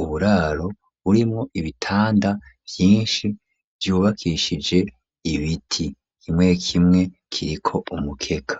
uburaro burimo ibitanda vyinshi byubakishije ibiti kimwe kimwe kiriko umukeka.